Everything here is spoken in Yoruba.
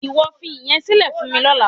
Ìwọ fi ìyẹn sílẹ̀ fún mi lọ́la.